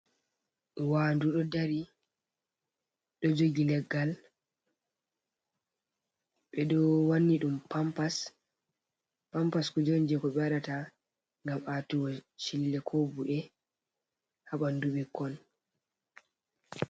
Wandu ɗo dari ɗo jogi leggal, ɓe ɗo wanni ɗum pampas, pampas kuje on jei ko ɓe waɗata ngam atugo chille ko bu'e ha ɓandu ɓikkon.